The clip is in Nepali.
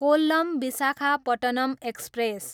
कोल्लम, विशाखापट्टनम एक्सप्रेस